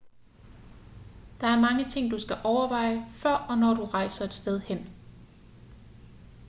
der er mange ting du skal overveje før og når du rejser et sted hen